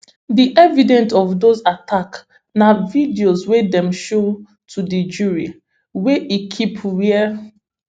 di evidence of dose attacks na videos wey dem show to di jury wey e keep wia